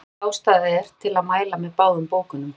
full ástæða er til að mæla með báðum bókunum